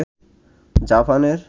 জাপানের